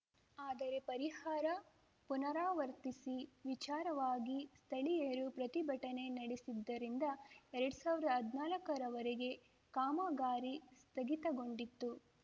ಆದರೆ ಪರಿಹಾರ ಪುನರಾ ವರ್ತಿಸಿ ವಿಚಾರವಾಗಿ ಸ್ಥಳೀಯರು ಪ್ರತಿಭಟನೆ ನಡೆಸಿದ್ದರಿಂದ ಎರ್ಡ್ ಸಾವಿರ್ದಾ ಹದ್ನಾಲ್ಕರವರೆಗೆ ಕಾಮಗಾರಿ ಸ್ಥಗಿತಗೊಂಡಿತ್ತು